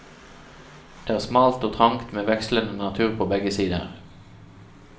Det er smalt og trangt med vekslende natur på begge sider.